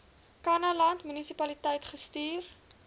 kannaland munisipaliteit gestuur